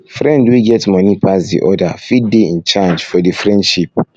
friend wey get money pass di other fit de in charge for the friendship